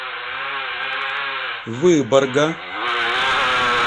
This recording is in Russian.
выборга